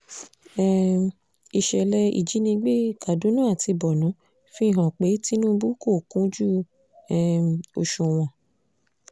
um ìṣẹ̀lẹ̀ ìjínigbé kaduna àti borno fi hàn pé tinubu kò kúnjú um òṣùwọ̀n